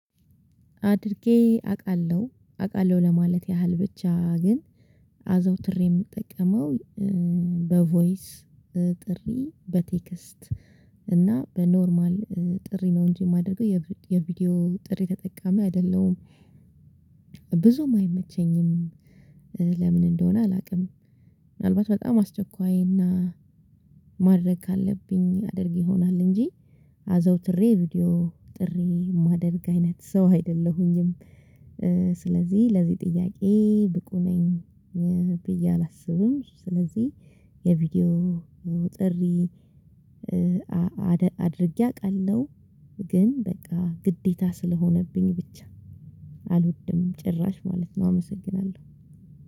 አድርጌ አውቃለሁ አውቃለሁ ለማለት ያህል ብቻ ግን አዘውትሬ የምጠቀመው በቮይስ ጥሪ በቴክስት እና በኖርማል ጥሪ ነው እንጂ የማደርገው የቪዲዮ ጥሪ ተጠቃሚ አይደለም። ብዙም አይመቸኝም ለምን እንደሆነ አላውቅም። ምን አልባት በጣም አስቸኳይና ማድረግ ካለብኝ አድርግ ይሆናል እንጂ። አዘውትሬ ቪዲዮ ጥሪ የማደርግ አይነት ሰው አይደለሁኝም። ስለዚህ ለዚህ ጥያቄ ብቁ ነኝ ብዬ አላስብም። የቪዲዮ ጥሪ አድርጌ አውቃለሁ ግን በቃ ግዴታ ስለሆነብኝ ብቻ አልወድም ጭራሽ ማለት ነው አመሰግናለሁ።